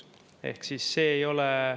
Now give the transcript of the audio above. Ehk siis see ei ole …